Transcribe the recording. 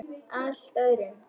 Allt öðrum.